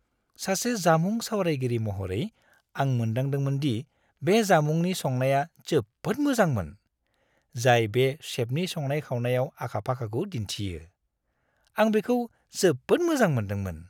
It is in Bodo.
सासे जामुं सावरायगिरि महरै, आं मोनदांदोंमोन दि बे जामुंनि संनाया जोबोद मोजांमोन, जाय बे सेफनि संनाय-खावनायाव आखा-फाखाखौ दिन्थियो। आं बेखौ जोबोद मोजां मोन्दोंमोन।